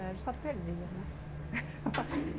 A gente só perdia, né?